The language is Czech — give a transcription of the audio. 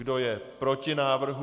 Kdo je proti návrhu?